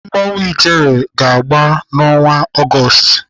Mmanwụ ijele ga-agba n'ọnwa Ọgọọst.